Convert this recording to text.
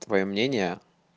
твоё мнение